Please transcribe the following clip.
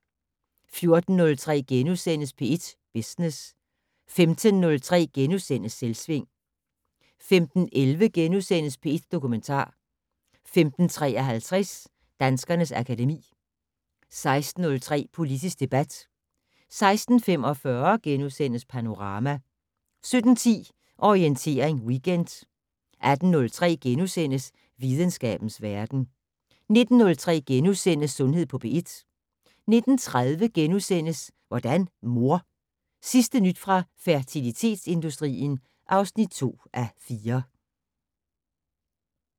14:03: P1 Business * 15:03: Selvsving * 15:11: P1 Dokumentar * 15:53: Danskernes akademi 16:03: Politisk debat 16:45: Panorama * 17:10: Orientering Weekend 18:03: Videnskabens verden * 19:03: Sundhed på P1 * 19:30: Hvordan mor? Sidste nyt fra fertilitetsindustrien (2:4)*